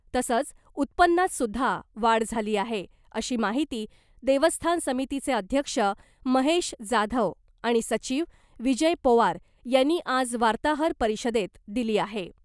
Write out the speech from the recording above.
तसंच उत्पन्नातसुध्दा वाढ झाली आहे , अशी माहिती देवस्थान समितीचे अध्यक्ष महेश जाधव आणि सचिव विजय पोवार यांनी आज वार्ताहर परिषदेत दिली आहे .